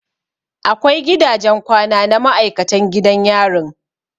Akwai gidajen kwana na maikatan gidan yarin